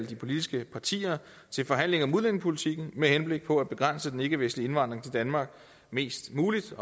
de politiske partier til forhandlinger om udlændingepolitikken med henblik på at begrænse den ikkevestlige indvandring til danmark mest muligt